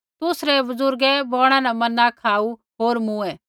तुसरै बुज़ुर्गै बौणा न मन्ना खाऊ होर मूँऐ